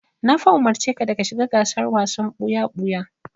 Na fa umurci ka da ka shiga gasar wasan ɓuya-ɓuya!